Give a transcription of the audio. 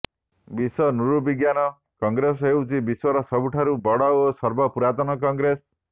ବିଶ୍ୱ ନୃବିଜ୍ଞାନ କଂଗ୍ରେସ ହେଉଛି ବିଶ୍ୱର ସବୁଠାରୁ ବଡ଼ ଓ ସର୍ବପୁରାତନ କଂଗ୍ରେସ